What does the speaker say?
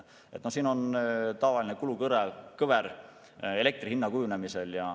Siin pildil on tavaline kulukõver elektri hinna kujunemisel.